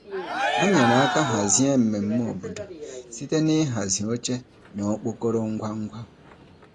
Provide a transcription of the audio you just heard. Ha nyere aka hazie mmemme obodo site n'ịhazi oche na okpokoro ngwa ngwa.